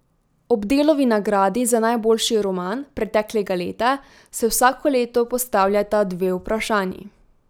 Ob Delovi nagradi za najboljši roman preteklega leta se vsako leto postavljata dve vprašanji.